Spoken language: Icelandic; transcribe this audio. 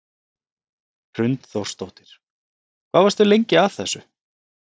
Hrund Þórsdóttir: Hvað varstu lengi að þessu?